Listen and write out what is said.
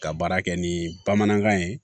Ka baara kɛ ni bamanankan ye